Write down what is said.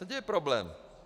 Kde je problém?